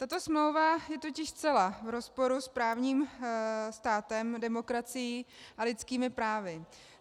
Tato smlouva je totiž zcela v rozporu s právním státem, demokracií a lidskými právy.